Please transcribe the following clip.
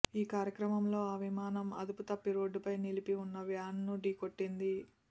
ఈ క్రమంలో ఆ విమానం అదుపు తప్పి రోడ్డుపై నిలిపి ఉన్న వ్యాన్ను ఢీకొట్టింది